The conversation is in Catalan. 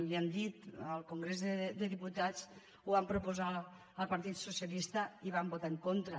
li ho han dit al congrés de diputats ho van proposar al partit socialista i hi van votar en contra